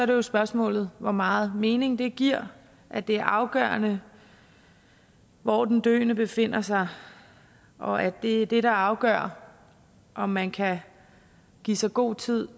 det spørgsmålet hvor meget mening det giver at det er afgørende hvor den døende befinder sig og at det er det der afgør om man kan give sig god tid